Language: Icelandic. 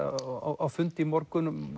á fundi í morgun um